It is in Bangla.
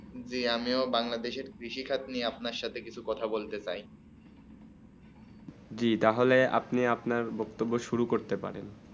জী আমিও বাংলাদেশে কৃষি খৎ নিয়ে আপনা সাথে কিছু কথা বলতে চাই জী তা হলে আপনি আপনার বেতব শুরু করতে পারেন